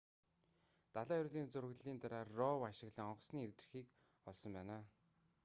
далайн ёроолын зураглалын дараа rov ашиглан онгоцны эвдэрхийг олсон байна